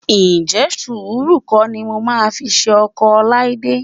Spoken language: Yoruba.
Ǹjẹ́ sùúrù kọ́ ni mo máa fi ṣe ọkọ Ọláídé?